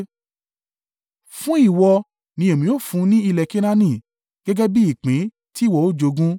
“Fún ìwọ ni èmi ó fún ní ilẹ̀ Kenaani gẹ́gẹ́ bí ìpín tí ìwọ ó jogún.”